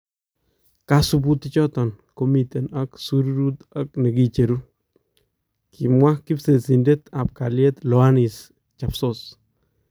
Kasubuutik choton ko miten ak shyuruut ak nekicheruu", kimwaa kibsesindet ab kalyeet Loannis Chapsos .